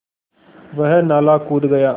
वह नाला कूद गया